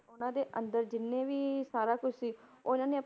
ਉਹਨਾਂ ਦੇ ਅੰਦਰ ਜਿੰਨੇ ਵੀ ਸਾਰਾ ਕੁਛ ਸੀ ਉਹਨਾਂ ਨੇ